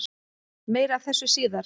Meira af þessu síðar.